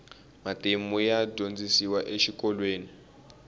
matimu ya dyondzisiwa exikolweni